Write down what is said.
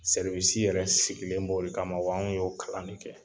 yɛrɛ sigilen b'o de kama wa anw y'o kalan de kɛ.